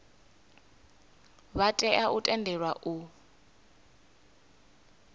vha tea u tendelwa u